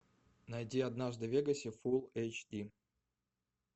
найди однажды в вегасе фулл эйч ди